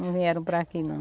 Não vieram para aqui, não.